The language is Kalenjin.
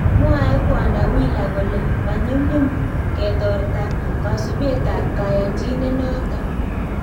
Mwaee Kwondo Wheeler kole manyumnyum ketortaa kasubeetab kayanchinet noton